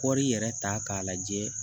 Kɔri yɛrɛ ta k'a lajɛ